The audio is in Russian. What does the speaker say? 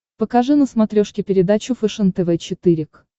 покажи на смотрешке передачу фэшен тв четыре к